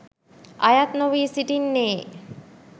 අයත් නොවී සිටින්නේ.